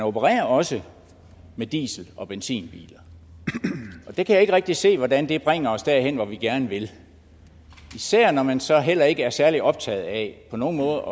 opererer også med diesel og benzinbiler og jeg kan ikke rigtig se hvordan det bringer os derhen hvor vi gerne vil især når man så heller ikke er særlig optaget af på nogen måder